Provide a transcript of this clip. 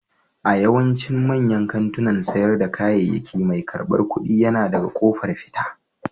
A yawaicin manyan kantunan sayar da kayayyaki mai karɓar kuɗi yana daga ƙofar fita.